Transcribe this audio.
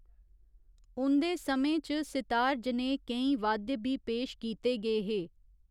उं'दे समें च सितार जनेह् केईं वाद्य बी पेश कीते गे हे।